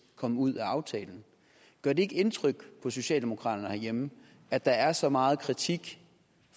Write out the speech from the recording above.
kom ud af aftalen gør det ikke indtryk på socialdemokraterne herhjemme at der er så meget kritik